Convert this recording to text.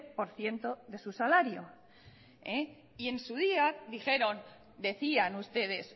por ciento de su salario y en su día dijeron decían ustedes